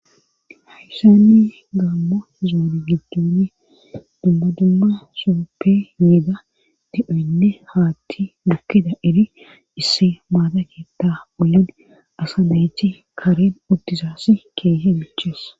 hayssanni gammo zoone giddoni dumma dumma sohoppe yiida di7oynne haathi bukkida iri issi maata keththi wullidi asa nayti kareen uttidayssa keehippe michees